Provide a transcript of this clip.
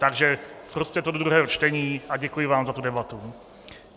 Takže propusťte to do druhého čtení a děkuji vám za tu debatu.